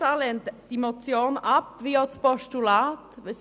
Die SP-JUSO-PSA-Fraktion lehnt diese Motion auch als Postulat ab.